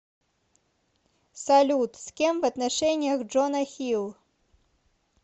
салют с кем в отношениях джона хилл